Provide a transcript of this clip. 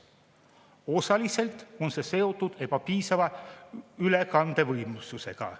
Osaliselt on see seotud ebapiisava ülekandevõimsusega.